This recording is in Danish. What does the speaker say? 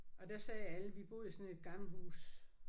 Og der sagde alle vi boede i sådan et gammelt hus